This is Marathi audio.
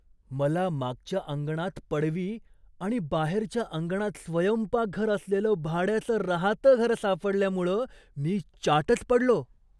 मला मागच्या अंगणात पडवी आणि बाहेरच्या अंगणात स्वयंपाकघर असलेलं भाड्याचं राहतं घर सापडल्यामुळं मी चाटच पडलो.